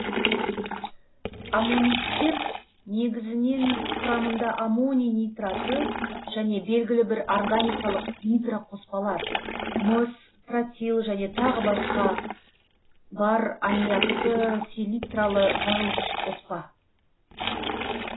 аммониттер негізінен құрамында аммоний нитраты және белгілі бір органикалық нитроқоспалар мыс тротил және тағы басқа бар аммиакты селитралы жарылғыш қоспа